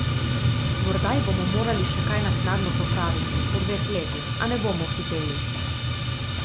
Morda ji bomo morali še kaj naknadno popraviti, po dveh letih, a ne bomo hiteli.